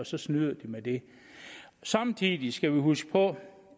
så snyder de med det samtidig skal vi huske på